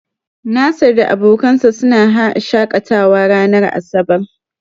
Nasir da abokansa suna haa shakatawa ranar asabar.